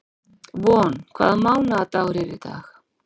Von, hvaða mánaðardagur er í dag?